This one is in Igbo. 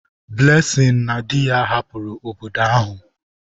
Blessing na di ya hapụrụ obodo ahụ.